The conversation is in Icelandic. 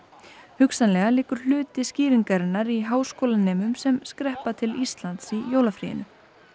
hugsanlega liggur hluti skýringarinnar í háskólanemum sem skreppa til Íslands í jólafríinu